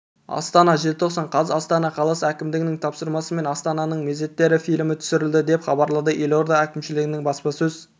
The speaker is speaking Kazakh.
астана желтоқсан қаз астана қаласы әкімдігінің тапсырысымен астананың мезеттері фильмі түсірілді деп хабарлады елорда әкімшілігінің баспасөз